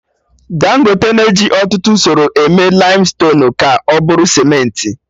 Dangote na eji ọtụtụ usoro eme laimstonuu ka ọ bụrụ Sementị